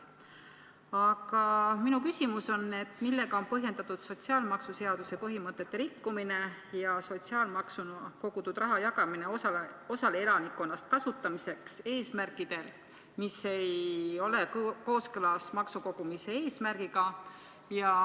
Aga minu küsimus on: millega on põhjendatud sotsiaalmaksuseaduse põhimõtete rikkumine ja sotsiaalmaksuna kogutud raha jagamine osale elanikkonnast kasutamiseks eesmärkidel, mis ei ole kooskõlas maksukogumise eesmärgiga.